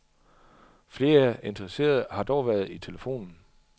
Flere interesserede har dog været i telefonen.